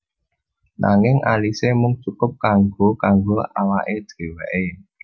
Nanging asile mung cukup kanggo kanggo awake dheweke